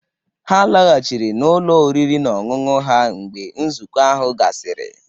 Ha laghachiri n'ọnụ ụlọ oriri na ọṅụṅụ ha mgbe nzukọ ahụ gasịrị.